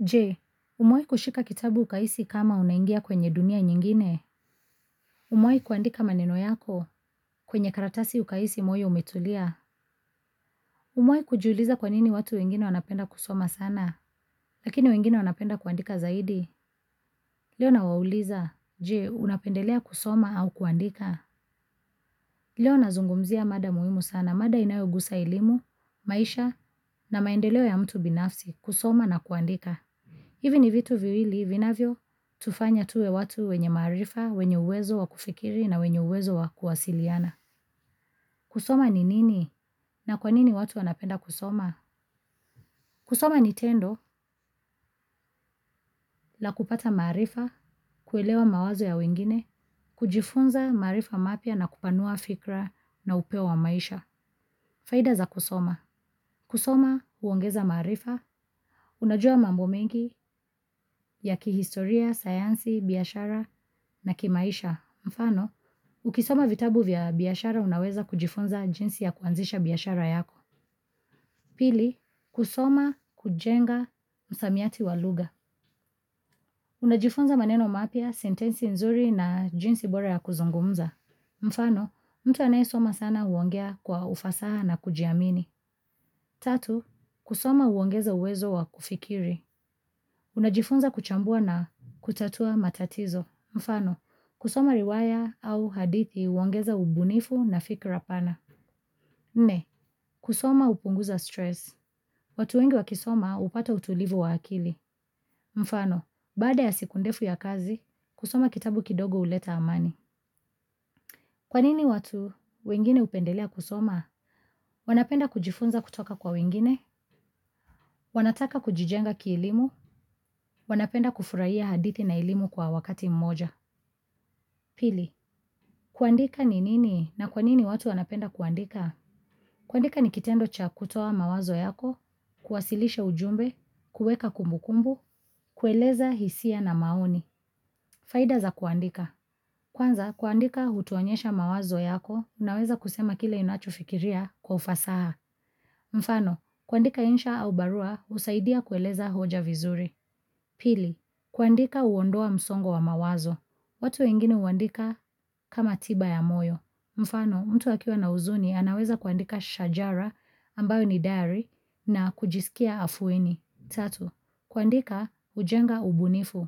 Je, umewai kushika kitabu ukahisi kama unaingia kwenye dunia nyingine. Umewai kuandika maneno yako kwenye karatasi ukahisi moyo umetulia. Umewai kujiuliza kwanini watu wengine wanapenda kusoma sana. Lakini wengine wanapenda kuandika zaidi. Leo nawauliza. Jee, unapendelea kusoma au kuandika. Leo nazungumzia mada muhimu sana. Mada inayogusa elimu, maisha na maendeleo ya mtu binafsi kusoma na kuandika. Hivi ni vitu viwili vinavyo tufanya tuwe watu wenye maarifa, wenye uwezo wa kufikiri na wenye uwezo wa kuwasiliana. Kusoma ni nini na kwanini watu wanapenda kusoma? Kusoma ni tendo la kupata maarifa, kuelewa mawazo ya wengine, kujifunza maarifa mapya na kupanua fikra na upeo wa maisha. Faida za kusoma. Kusoma huongeza maarifa, unajua mambo mengi ya kihistoria, sayansi, biashara na kimaisha. Ukisoma vitabu vya biashara unaweza kujifunza jinsi ya kuanzisha biashara yako. Pili, kusoma hujenga msamiati wa lugha. Unajifunza maneno mapya, sentensi nzuri na jinsi bora ya kuzungumza. Mfano, mtu anayesoma sana huongea kwa ufasaha na kujiamini. Tatu, kusoma huongeza uwezo wa kufikiri. Unajifunza kuchambua na kutatua matatizo. Mfano, kusoma riwaya au hadithi huongeza ubunifu na fikra pana. Nne, kusoma hupunguza stress. Watu wengi wakisoma hupata utulivu wa akili. Mfano, baada ya siku ndefu ya kazi, kusoma kitabu kidogo huleta amani. Kwanini watu, wengine hupendelea kusoma? Wanapenda kujifunza kutoka kwa wengine? Wanataka kujijenga kielimu? Wanapenda kufurahiya hadithi na elimu kwa wakati mmoja? Pili, kuandika ni nini na kwanini watu wanapenda kuandika? Kuandika ni kitendo cha kutoa mawazo yako, kuwasilisha ujumbe, kueka kumbukumbu, kueleza hisia na maoni. Faida za kuandika. Kwanza, kuandika hutuonyesha mawazo yako, unaweza kusema kile inacho fikiria kwa ufasaha. Mfano, kuandika insha au barua husaidia kueleza hoja vizuri. Pili, kuandika huondoa msongo wa mawazo. Watu wengine huandika kama tiba ya moyo. Mfano, mtu akiwa na uzuni anaweza kuandika shajara ambayo ni diary na kujisikia afueni. Tatu, kuandika hujenga ubunifu.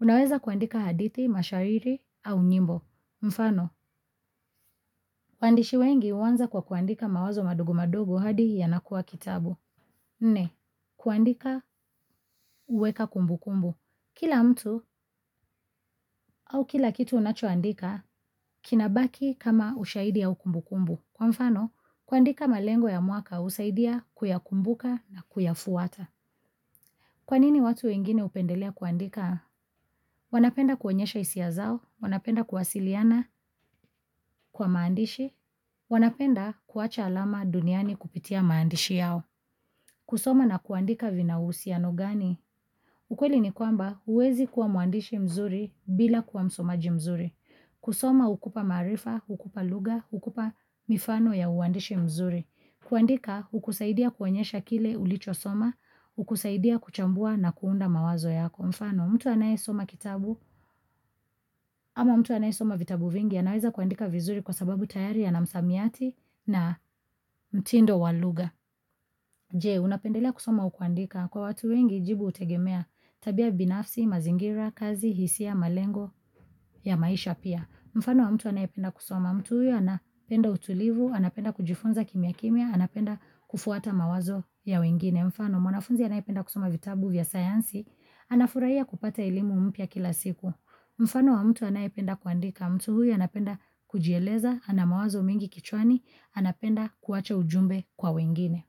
Unaweza kuandika hadhiti, mashahiri au nyimbo. Mfano, wandishi wengi huanza kwa kuandika mawazo madogo madogo hadi yanakuwa kitabu. Nne, kuandika huweka kumbu kumbu. Kila mtu au kila kitu unachoandika kinabaki kama ushaidi au kumbu kumbu. Kwa mfano, kuandika malengo ya mwaka husaidia kuyakumbuka na kuyafuata. Kwa nini watu wengine hupendelea kuandika? Wanapenda kuonyesha hisia zao, wanapenda kuwasiliana kwa maandishi, wanapenda kuwacha alama duniani kupitia mandishi yao. Kusoma na kuandika vina uhusiano gani? Ukweli ni kwamba uwezi kuwa mwandishi mzuri bila kuwa msomaji mzuri. Kusoma hukupa maarifa, hukupa lugha, hukupa mifano ya uandishi mzuri. Kuandika hukusaidia kuonyesha kile ulicho soma, hukusaidia kuchambua na kuunda mawazo yako. Mfano mtu anaye soma kitabu ama mtu anaye soma vitabu vingi anaweza kuandika vizuri kwa sababu tayari ana msamiati na mtindo walugha. Je, unapendelea kusoma au kuandika. Kwa watu wengi, jibu hutegemea tabia binafsi, mazingira, kazi, hisia, malengo, ya maisha pia. Mfano wa mtu anayipenda kusoma. Mtu huyu anapenda utulivu, anapenda kujifunza kimia kimia, anapenda kufuata mawazo ya wengine. Mfano, mwanafunzi anayependa kusoma vitabu vya sayansi, anafurahiya kupata elimu mpya kila siku. Mfano wa mtu anayependa kuandika. Mtu huyu anapenda kujieleza, ana mawazo mengi kichwani, anapenda kuwacha ujumbe kwa wengine.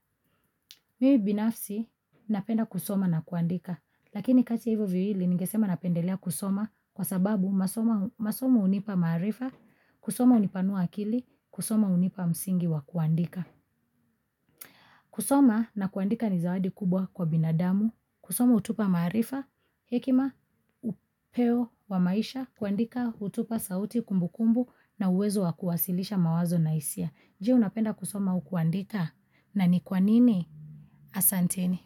Mimi binafsi napenda kusoma na kuandika, lakini kati ya hivo viwili ningesema napendelea kusoma kwa sababu masomo hunipa maarifa, kusoma hunipanua akili, kusoma hunipa msingi wa kuandika. Kusoma na kuandika ni zawadi kubwa kwa binadamu, kusoma hutupa maarifa, hekima, upeo wa maisha, kuandika hutupa sauti kumbu kumbu na uwezo wa kuwasilisha mawazo na hisia. Je unapenda kusoma au kuandika na nikwanini asanteni.